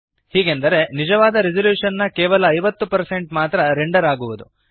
ಹೀಗೆಂದರೆ ನಿಜವಾದ ರೆಸಲ್ಯೂಶನ್ ನ ಕೇವಲ 50 ಮಾತ್ರ ರೆಂಡರ್ ಆಗುವುದು